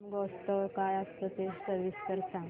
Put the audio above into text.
शिमगोत्सव काय असतो ते सविस्तर सांग